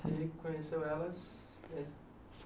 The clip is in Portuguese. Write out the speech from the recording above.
Você conheceu elas?